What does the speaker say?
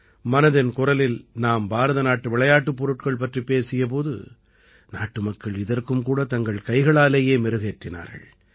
மனதின் குரலில் நாம் பாரத நாட்டு விளையாட்டுப் பொருட்கள் பற்றிப் பேசிய போது நாட்டுமக்கள் இதற்கும் கூடத் தங்கள் கைகளாலேயே மெருகேற்றினார்கள்